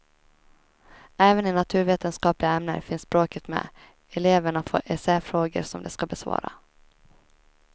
Även i naturvetenskapliga ämnen finns språket med, eleverna får essäfrågor som de ska besvara.